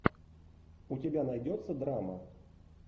у тебя найдется драма